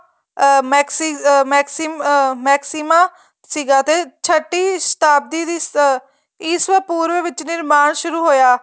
ਅਹ ਮੈਕਸੀਮਾ ਸੀਗਾ ਤੇ ਛੱਟੀ ਸ੍ਤਾਬ੍ਤੀ ਦੀ ਈਸਵੀਂ ਪੂਰਵ ਵਿੱਚ ਨਿਰਮਾਣ ਸ਼ੁਰੂ ਹੋਇਆ